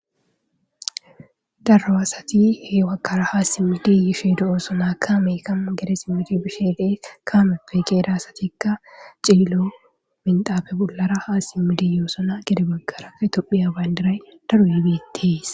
darro asati he wakara haa simmidiyoshe di7oosona kaamey kamma gedesimooti bisheelee kaameppe keeda asatikka ciilo minxaafe bollara haa simmidiyoosona gede bagkara ke tophiya bayndiray daruuyebeettees